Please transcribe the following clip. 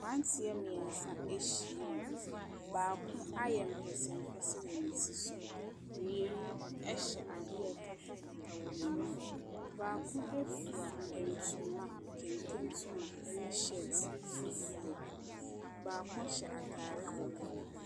Mmeranteɛ mmeɛnsa ahyiam. Baako ayɛ mpɛsɛmpɛsɛ wɔ ne tiri so. Mmienu hyɛ adeɛ a ɛkatakata wɔn ani. Baako fura ntoma kente ntoma ne shirt fufuo. Baako hyɛ atare kɔkɔɔ.